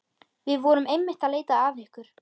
Við vorum einmitt að leita að ykkur.